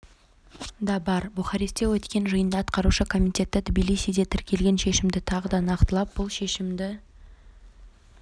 да бар бухарестте өткен жиында атқарушы комитеті тбилисиде тіркелген шешімді тағы да нақтылап бұл шешімді